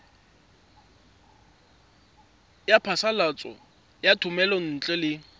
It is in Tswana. ya phasalatso ya thomelontle le